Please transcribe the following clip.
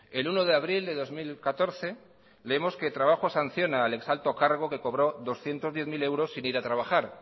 el uno de abril de dos mil catorce leemos que trabajo sanciona al ex alto cargo que cobró doscientos diez mil euros sin ir a trabajar